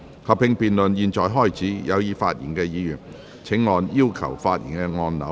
合併辯論現在開始，有意發言的議員請按"要求發言"按鈕。